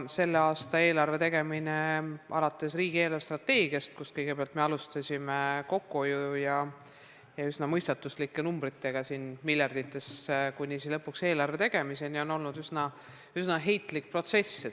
Selle aasta eelarve tegemine, alates riigi eelarvestrateegiast – kus me kõigepealt alustasime kokkuhoiu ja üsna mõistatuslike numbritega miljardites – ja lõpetades konkreetse eelarve tegemisega, on olnud üsna heitlik protsess.